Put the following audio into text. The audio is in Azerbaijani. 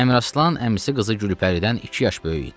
Əmiraslan əmisi qızı Gülpəridən iki yaş böyük idi.